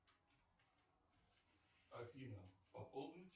афина пополнить